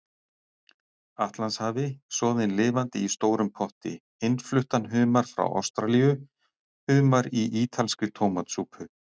Atlantshafi, soðinn lifandi í stórum potti, innfluttan humar frá Ástralíu, humar í ítalskri tómatsúpu.